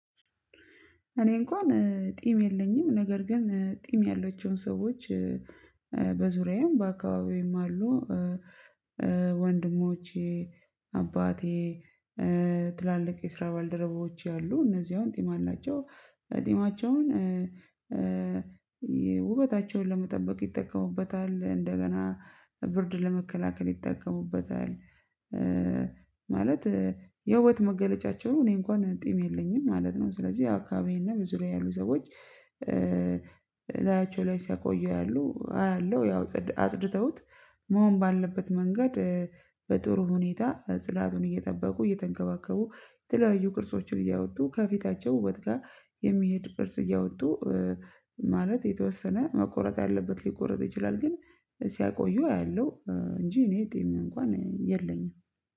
እኔ እንኳን ጢም የለኝም ነገር ግን ጢም ያላቸውን ሰዎች በዙሪያዬም በአካባቢዬም አሉ። ወንድሞቼ አባቴ ትላልቅ የስራ ባልደረቦቼ አሉ። እነዚህ አሁን ጢማ አላቸው ጢማቸውን ለመጠበቅ ይጠቀሙበታል እንደገና ብርድ ለመከላከል ይጠቀሙበታል። ማለት የህይወት መገለጫቸው እኔ እንኳን ጢም የለኝም ማለት ነው። ስለዚህ አካባቢዬና በዙሪያዬ ያሉ ሰዎች እላያቸው ላይ ሲያቆዩ ያሉ አያለው ያው አጽድተውት መሆን ባለበት መንገድ። በጥሩ ሁኔታ ጽዳቱን እየጠበቁ እየተንከባከቡ የተለያዩ ቅርጾችን እያወጡ ከፊታቸው ውበት ጋር የሚሄድ ቅርጽ እያወጡ ማለት የተወሰነ መቆረጥ ያለበት ሊቆረጥ ይችላል። ግን ሲያቆዩ አያለሁ እንጂ እኔ ጢም እንኳን የለኝም